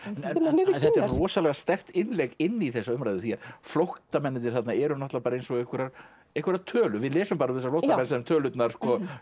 niður kinnar þetta er rosalega sterkt innlegg inn í þessa umræðu því að flóttamennirnir þarna eru bara eins og einhverjar einhverjar tölur við lesum bara um þessa flóttamenn sem tölurnar